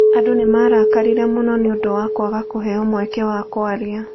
Andũ nĩ maarakarire mũno nĩ ũndũ wa kwaga kũheo mweke wa kwaria.